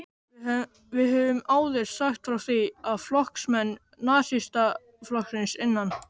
Við höfum áður sagt frá því, að flokksmenn Nasistaflokksins innan